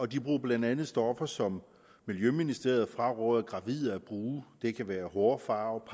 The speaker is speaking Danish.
de bruger blandt andet stoffer som miljøministeriet fraråder gravide at bruge det kan være hårfarve